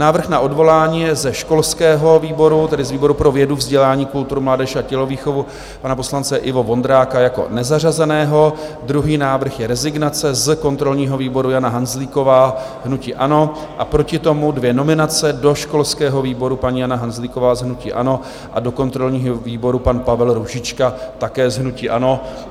Návrh na odvolání je ze školského výboru, tedy z výboru pro vědu, vzdělání, kulturu, mládež a tělovýchovu, pana poslance Ivo Vondráka jako nezařazeného, druhý návrh je rezignace z kontrolního výboru - Jana Hanzlíková hnutí ANO, a proti tomu dvě nominace do školského výboru: paní Jana Hanzlíková z hnutí ANO a do kontrolního výboru pan Pavel Růžička také z hnutí ANO.